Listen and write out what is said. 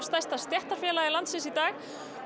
stærsta stéttarfélagi landsins í dag